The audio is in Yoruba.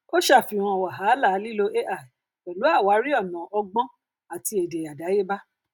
ó ṣàfihàn wàhálà lílo ai pẹlú àwárí ònà ọgbọn àti èdè àdáyébá